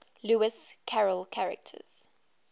lewis carroll characters